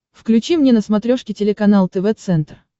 включи мне на смотрешке телеканал тв центр